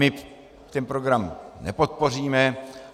My ten program nepodpoříme.